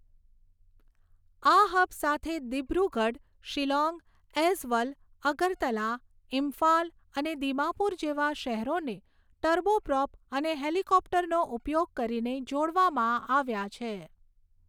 આ હબ સાથે દીબ્રુગઢ, શિલોંગ, ઐઝવલ, અગરતલા, ઇમ્ફાલ અને દીમાપુર જેવા શહેરોને ટર્બોપ્રોપ અને હેલિકોપ્ટરનો ઉપયોગ કરીને જોડવામાં આવ્યા છે.